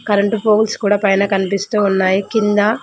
current పోగుల్స్ కూడా పైన కనిపిస్తూ ఉన్నాయి కింద--